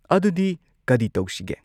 ꯑꯗꯨꯗꯤ ꯀꯔꯤ ꯇꯧꯁꯤꯒꯦ?